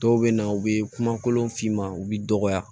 Dɔw bɛ na u bɛ kumakolon f'i ma u bɛ dɔgɔya